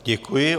Děkuji.